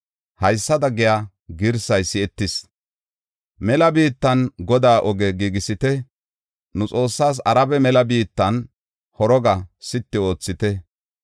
Haysada giya girsay si7etees; “Mela biittan Godaa ogiya giigisite; nu Xoossaas Araba mela biittan horoga sitti oothite.